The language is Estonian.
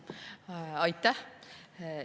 Aitäh!